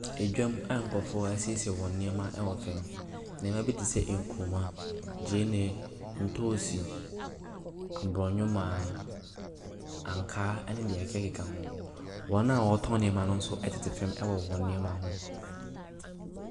Ɛdwam a nkrɔfoɔ asiesie wɔn nneɛma wɔ fa. Nneɛma bi te sɛ nkruma, ntoosi, abrɔnwomaa, ankaa ne nea ɛkekakeka ho. Wɔn a wɔtɔ nneɛma no nso tete fam wɔ wɔn nneɛma ho.